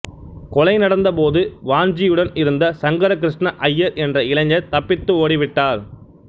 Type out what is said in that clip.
கொலை நடந்தபோது வாஞ்சியுடன் இருந்த சங்கர கிருஷ்ண அய்யர் என்ற இளைஞர் தப்பித்து ஓடிவிட்டார்